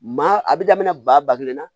Maa a bɛ daminɛ ba kelen na